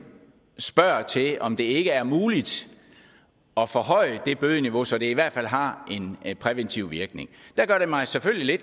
spørger til om det ikke er muligt at forhøje det bødeniveau så det i hvert fald har en præventiv virkning der gør det mig selvfølgelig